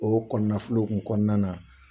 O kɔnɔna kɔnɔna na